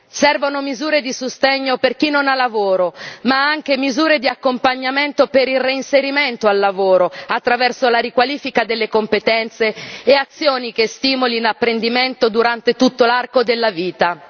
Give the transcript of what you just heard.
Servono misure di sostegno per chi non ha lavoro ma anche misure di accompagnamento per il reinserimento al lavoro, attraverso la riqualifica delle competenze e azioni che stimolino apprendimento durante tutto l'arco della vita.